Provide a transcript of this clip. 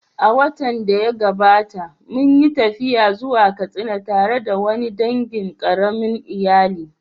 A watan da ya gabata, mun yi tafiya zuwa Katsina tare da wani dangin ƙaramin iyali